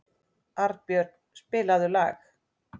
Arnbjörn, spilaðu lag.